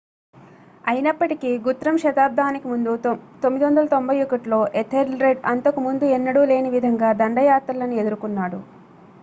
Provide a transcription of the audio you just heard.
అయినప్పటికీ గుత్రమ్ శతాబ్దానికి ముందు 991లో ఎథెల్రెడ్ అంతకు ముందు ఎన్నడూ లేని విధంగా దండయాత్రలను ఎదురుకున్నాడు